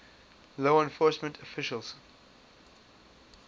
law enforcement officials